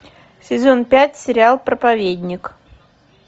сезон пять сериал проповедник